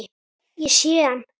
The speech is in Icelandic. Ég sé hann